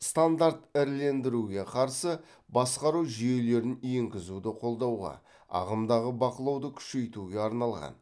стандарт ірілендіруге қарсы басқару жүйелерін енгізуді қолдауға ағымдағы бақылауды күшейтуге арналған